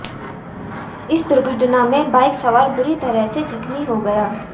इस दुर्घटना में बाइक सवार बुरी तरह से जख्मी हो गया